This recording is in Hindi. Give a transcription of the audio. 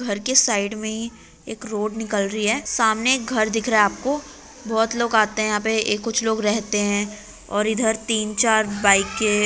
घर के साइड में ही एक रोड निकल रही है | सामने एक घर दिख रहा है आपको बोहोत लोग आते हैं यहाँ पे कुछ लोग रहते हैं और ईधर तीन चार बाईके